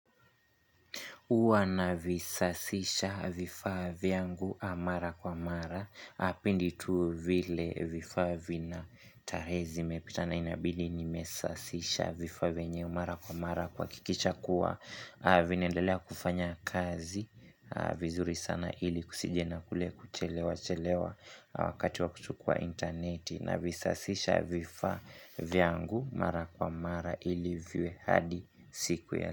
Huwa na visasisha vifaa vya ngu mara kwa mara. Pindi tu vile vifaa vina tarehe zi mepitana inabidi ni mesasisha vifaa vyenyewe mara kwa mara. Kuhakikisha kuwa vinaendelea kufanya kazi vizuri sana ili kusije na kule kuchelewa chelewa wakati wa kuchukua intaneti. Na visasisha vifaa vya ngu mara kwa mara ili viwe hadi siku ya.